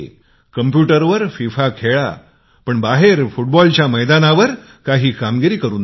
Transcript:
कम्प्युटरवर FIFA खेळ खेळा पण बाहेरच्या मैदानावर काही तरी कामगिरी करुन दाखवा